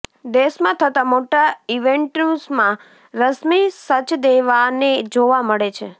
દેશમાં થતા મોટા ઈવેન્ટ્સમાં રશ્મી સચદેવાને જોવા મળે છે